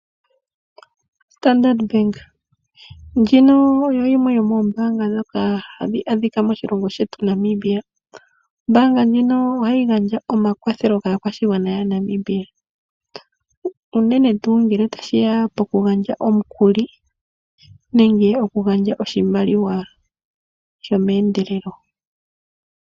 Standard Bank ndjino oyo yimwe yomoombaanga dhoka hadhi adhika moshilongo shetu Namibia. Ombaanga ndjino ohayi gandja omakwathelo kaakwashigwana yaNamibia, unene tuu ngele tashiya poku gandja omukuli nenge okugandja oshimaliwa shomeendelelo.